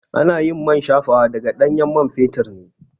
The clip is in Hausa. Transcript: Anayin man shafawa daga ɗanyen man fetur ne